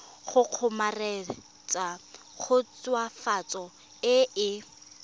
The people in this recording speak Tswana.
go kgomaretsa khutswafatso e e